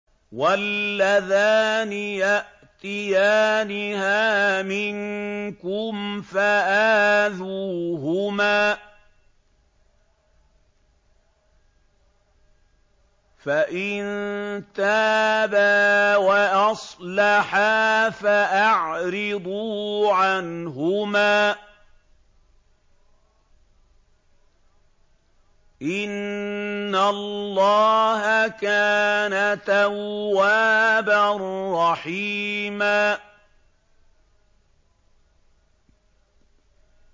وَاللَّذَانِ يَأْتِيَانِهَا مِنكُمْ فَآذُوهُمَا ۖ فَإِن تَابَا وَأَصْلَحَا فَأَعْرِضُوا عَنْهُمَا ۗ إِنَّ اللَّهَ كَانَ تَوَّابًا رَّحِيمًا